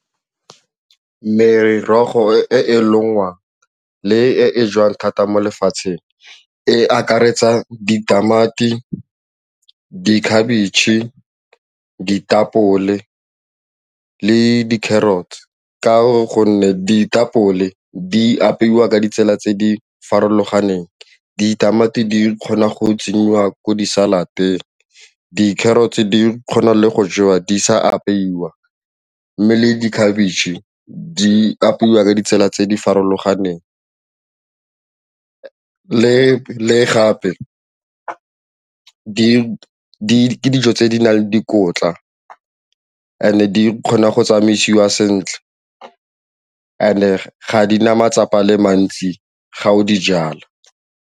Merogo e e lengwang le e jewang thata mo lefatsheng e akaretsa ditamati, dikhabetšhe, ditapole le di-carrots ka gonne ditapole di apeiwa ka ditsela tse di farologaneng, ditamati di kgona go tsenyiwa ko di-salad-eng, di-carrots di kgona le go jewa di sa apeiwa ka mme le dikhabitšhe di apeiwa ka ditsela tse di farologaneng le le gape ke dijo tse di nang le dikotla and di kgona go tsamaisiwa sentle and-e ga di na matsapa a le mantsi ga o dijala.